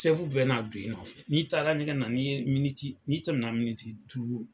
Sɛfu bɛ n'a don i nɔ, n'i taara ɲɛgɛn na, n'i ye miniti n'i tɛmɛna miniti duuru